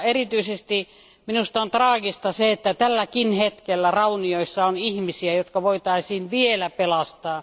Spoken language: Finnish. Erityisesti minusta on traagista se, että tälläkin hetkellä raunioissa on ihmisiä, jotka voitaisiin vielä pelastaa.